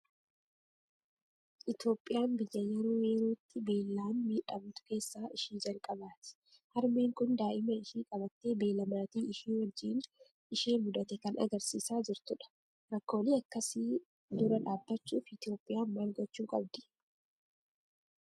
Itoophiyaan biyya yeroo yerootti beellaan miidhamtu keessaa ishii jalqabaati. Harmeen kun daa'ima ishii qabattee beela maatii ishii wajjin ishee mudate kan argisiisaa jirtu dha. Rakkoolee akkasii dura dhaabbachuuf Itoophiyaan maal gochuu qabdi?